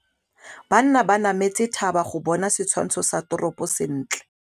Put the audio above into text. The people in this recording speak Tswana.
Banna ba nametse thaba go bona setshwantsho sa toropô sentle.